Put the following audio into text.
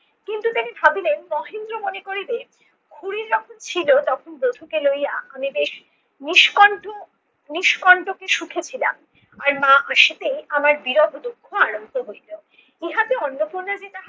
কিন্তু তিনি ভাবিলেন মহেন্দ্র করিবে খুড়ি যখন ছিলো তখন বধূ লইয়া আমি বেশ নিষ্কন্ঠ~ নিষ্কন্টকে সুখে ছিলাম। আর মা আসিতেই আমার বিরহ দুঃখ আরম্ভ হইল। ইহাতে অর্ণপূর্ণা যে তাহাকে